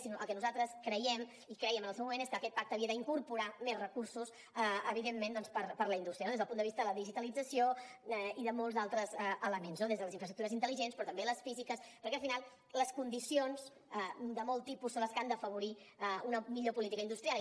sinó que el que nosaltres creiem i crèiem en el seu moment és que aquest pacte havia d’incorporar més recursos evidentment doncs per la indústria no des del punt de vista de la digitalització i de molts altres elements des de les infraestructures intel·ligents però també les físiques perquè al final les condicions de molts tipus són les que han d’afavorir una millor política industrial